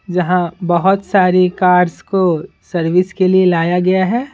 जहां बहुत सारी कार्स को सर्विस के लिए लाया गया है।